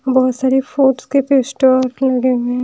बहोत सारे फ्रूट्स के पेस्टर लगे हुए है।